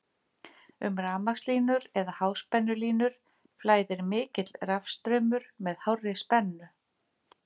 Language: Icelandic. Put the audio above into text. Um rafmagnslínur eða háspennulínur flæðir mikill rafstraumur með hárri spennu.